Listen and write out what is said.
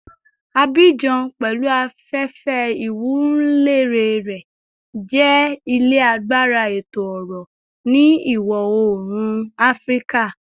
Abidjan, pẹlu afefe iwunlere rẹ, jẹ ile agbara eto-ọrọ ni Iwọ-oorun Afirika